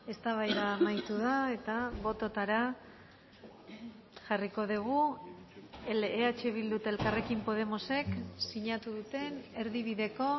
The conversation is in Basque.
eztabaida amaitu da eta bototara jarriko dugu eh bildu eta elkarrekin podemosek sinatu duten erdibideko